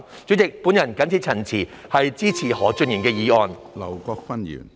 主席，我謹此陳辭，支持何俊賢議員的議案。